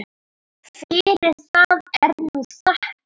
Fyrir það er nú þakkað.